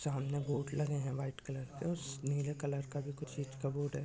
सामने बोर्ड लगे हैं व्हाइट कलर के| उस नीले कलर का भी कुछ चीज़ का बोर्ड है।